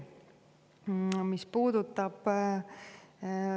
Hea Rain!